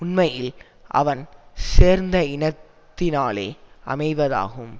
உண்மையில் அவன் சேர்ந்த இனத்தினாலே அமைவதாகும்